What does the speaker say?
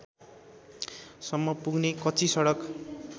सम्म पुग्ने कच्चीसडक